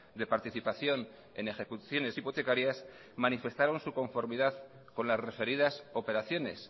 de participación en ejecuciones hipotecarias manifestaron su conformidad con las referidas operaciones